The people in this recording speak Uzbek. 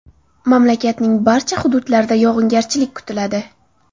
Mamlakatning barcha hududlarida yog‘ingarchilik kutiladi.